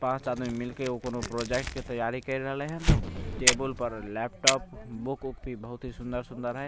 पांच आदमी मिल के एगो कोनो प्रोजेक्ट के तैयारी कर रहले हे टेबुल पर लैपटॉप बुक वुक भी बहुत सुन्दर-सुन्दर है।